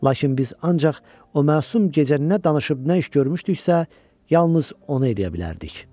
Lakin biz ancaq o məsum gecə nə danışıb, nə iş görmüşdüksə, yalnız onu edə bilərdik.